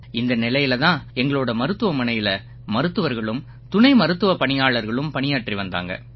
இந்த நிலையில தான் எங்களோட மருத்துவமனையில மருத்துவர்களும் துணை மருத்துவப் பணியாளர்களும் பணியாற்றி வந்தாங்க